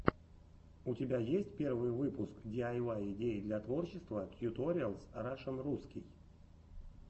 у тебя есть первый выпуск диайвай идеи для творчества туториалс рашн русский